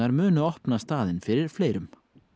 munu opna staðinn fyrir fleirum